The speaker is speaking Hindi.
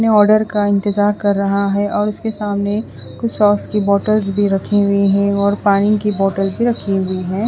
अपने ऑर्डर का इंतज़ार कर रहा है और उसके सामने कुछ सोस की बोटल्स भी रखी हुई है और पानी की बोटल्स भी रखी हुई है।